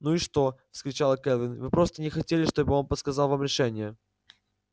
ну и что вскричала кэлвин вы просто не хотели чтобы он подсказал вам решение